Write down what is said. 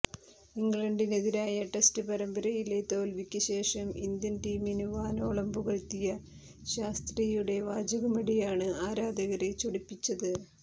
ഇംഗ്ലണ്ടിനെതിരായ ടെസ്റ്റ് പരമ്പരയിലെ തോല്വിക്ക് ശേഷവും ഇന്ത്യന് ടീമിനെ വാനോളം പുകഴ്ത്തിയ ശാസ്ത്രിയുടെ വാചകമടിയാണ് ആരാധകരെ ചൊടിപ്പിച്ചത്